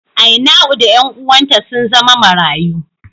Ainau da ’yan uwanta sun zama marayu.